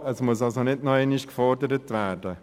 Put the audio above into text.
Dies muss also nicht nochmals gefordert werden.